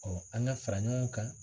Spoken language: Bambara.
an ka fara ɲɔgɔn kan